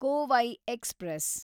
Kovai express